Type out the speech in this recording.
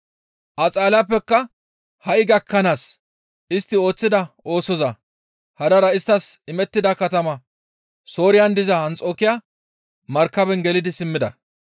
Axaaliyappeka ha7i gakkanaas istti ooththida oosoza hadara isttas imettida katama Sooriyan diza Anxokiya markaben gelidi simmida.